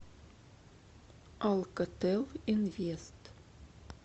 алкотел инвест